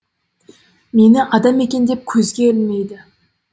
мені адам екен деп көзге ілмейді